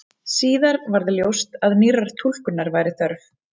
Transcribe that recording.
Síðar varð ljóst að nýrrar túlkunar væri þörf.